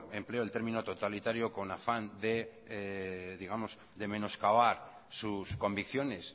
empleo el término totalitario con afán de menoscabar sus convicciones